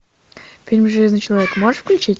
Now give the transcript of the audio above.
фильм железный человек можешь включить